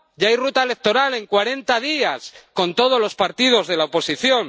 Ya hay ruta electoral en cuarenta días con todos los partidos de la oposición.